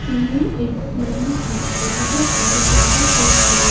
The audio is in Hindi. ये एक मंडली है और यहाँ पर ज्यादातर लोग --